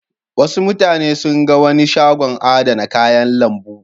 Wasu mutane sun ga wani shagon adana kayan lambu.